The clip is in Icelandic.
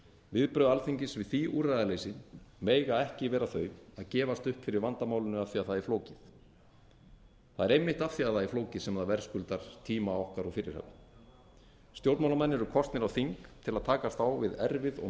viðbrögð alþingis við því úrræðaleysi mega ekki vera þau að gefast upp fyrir vandamálinu af því það er flókið það er einmitt af því það er flókið sem það verðskuldar tíma okkar og fyrirhöfn stjórnmálamenn eru kosnir á þing til að takast á við erfið og